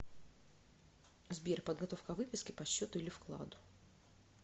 сбер подготовка выписки по счету или вкладу